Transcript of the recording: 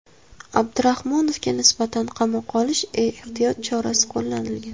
Abdurahmonovga nisbatan qamoqqa olish ehtiyot chorasi qo‘llanilgan.